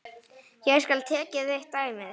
Hér skal tekið eitt dæmi.